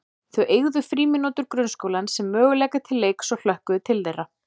Þau eygðu frímínútur grunnskólans sem möguleika til leiks og hlökkuðu til þeirra.